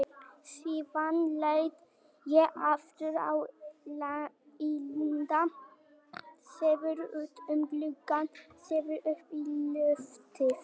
Síðan leit ég aftur á Inda, síðan út um gluggann, síðan upp í loftið.